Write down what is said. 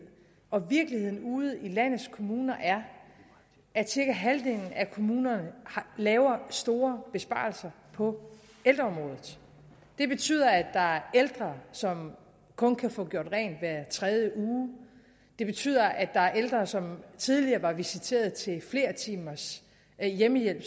og virkeligheden ude i landets kommuner er at cirka halvdelen af kommunerne laver store besparelser på ældreområdet det betyder at der er ældre som kun kan få gjort rent hver tredje uge det betyder at der er ældre som tidligere var visiteret til flere timers hjemmehjælp